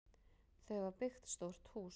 Þau hafa byggt stórt hús.